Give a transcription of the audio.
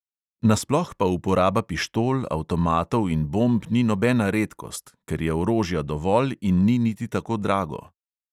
Nasploh pa uporaba pištol, avtomatov in bomb ni nobena redkost, ker je orožja dovolj in ni niti tako drago.